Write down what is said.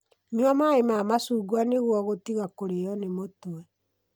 Nyua maĩ ma macungwa nĩguo gũtiga kũrĩo nĩ mũtwe.